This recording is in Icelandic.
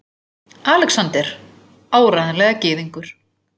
ALEXANDER: Áreiðanlega gyðingur!